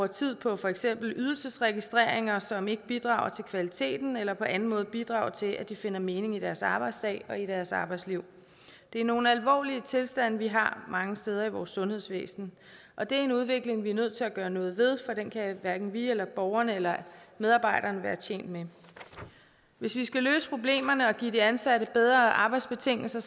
tid på for eksempel ydelsesregistreringer som ikke bidrager til kvaliteten eller på anden måde bidrager til at de finder mening i deres arbejdsdag og i deres arbejdsliv det er nogle alvorlige tilstande vi har mange steder i vores sundhedsvæsen og det er en udvikling vi er nødt til at gøre noget ved for den kan hverken vi eller borgerne eller medarbejderne være tjent med hvis vi skal løse problemerne og give de ansatte bedre arbejdsbetingelser